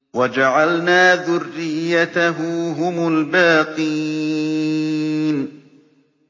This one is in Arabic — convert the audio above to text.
وَجَعَلْنَا ذُرِّيَّتَهُ هُمُ الْبَاقِينَ